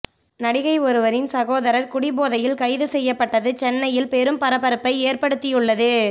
நடிகை ஒருவரின் சகோதரர் குடிபோதையில் கைது செய்யப்பட்டது சென்னையில் பெரும் பரபரப்பை ஏற்படுத்தி உள்ளது